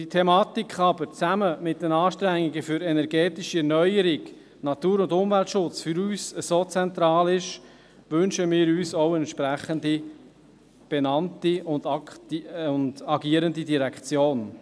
Weil diese Thematik jedoch zusammen mit den Anstrengungen für energetische Erneuerung, Natur- und Umweltschutz für uns so zentral sind, wünschen wir uns auch eine entsprechend benannte und agierende Direktion.